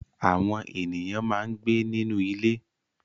Àwọn ènìyàn máa ń gbé nínú ilé.